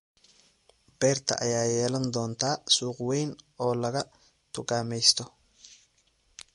Beerta ayaa yeelan doonta suuq weyn oo laga dukaameysto.